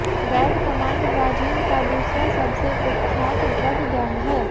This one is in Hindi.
रेड कमांड ब्राजील का दूसरा सबसे कुख्यात ड्रग गैंग है